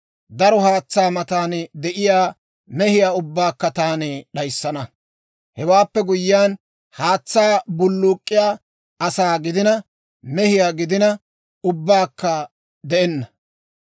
Daro haatsaa matan de'iyaa mehiyaa ubbaakka taani d'ayissana; hewaappe guyyiyaan, haatsaa bulluk'k'iyaa asaa gidina mehiyaa gidina, ubbakka de'enna.